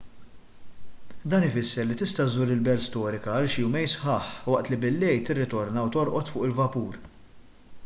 dan ifisser li tista' żżur il-belt storika għal xi jumejn sħaħ waqt li billejl tirritorna u torqod fuq il-vapur